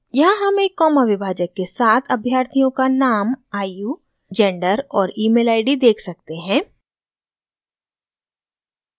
यहाँ हम एक कॉमा विभाजक के साथ अभ्यर्थियों का नाम आयु जेंडर और ईमेल आईडी देख सकते हैं